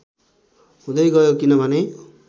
हुँदै गयो किनभने